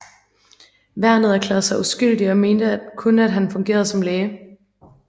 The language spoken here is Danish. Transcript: Værnet erklærede sig uskyldig og mente kun han har fungeret som læge